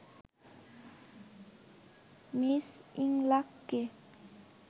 Ms ইংলাককে